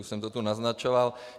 Už jsem to tu naznačoval.